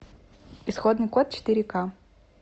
исходный код четыре ка